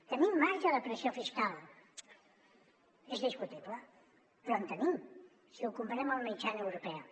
tenim marge de pressió fiscal és discutible però en tenim si ho comparem amb la mitjana europea